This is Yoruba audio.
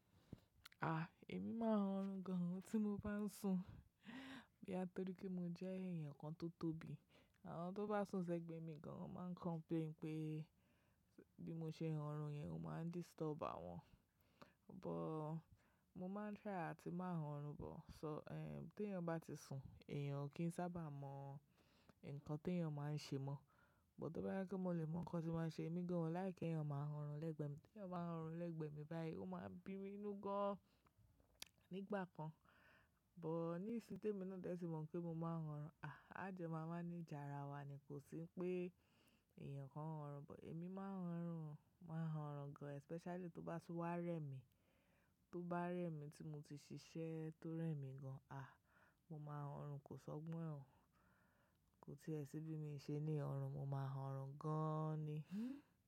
A! Èmi máa ń rorun gan tí mo bá ń sùn. Bí á torí pé mo jẹ́ èèyàn kan tó tóbi. Àwọn tó bá sùn sẹ́gbẹ̀ mi gan máa ń complain pé bí mo ṣe ń rorun yẹn, ó máa ń disturb àwọn. Bọ̀, mo máa ń try àti má rorun bọ̀. So, eh, tí èèyàn bá ti sùn, èèyàn kì í sábà mọ nǹkan tí èèyàn máa ń ṣe mọ́. Bọ̀ tó bá yẹ kí mo lè mọ̀ nkàn tí wọ́n ṣe, èmi gan láì kí ẹ̀yàn máa rorun lẹ́gbẹ̀ẹ́ mi. Tí èèyàn bá ń rorun lẹ́gbẹ̀ẹ́ mi báyìí, ó máa bi mí inú gan nigbà kan. Bọ̀ ní ìsìn té mi náà dẹ́ sì mọ̀ pé mo máa ń rorun. Ajo má máa manaji àrá wa ni kò sí pé èèyàn kan ń rorun bọ̀. Èmi máa ń rorun, máa ń rorun gan especially tó bá ti wá rẹ́ mi. Tó bá rẹ́ mi tí mo ti ṣiṣẹ́ tó rẹ́ mi gan. A! Mo máa ń rorun kò sọgbọ́n e o. Kò tí è sí bí mi ṣe ní oọ̀run, mo máa ń oorun gan ni.